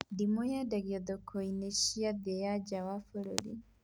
Ndimũ yendagio thoko-inĩ cia thĩiniĩ na nja wa bũrũri